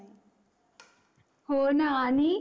हो न आणि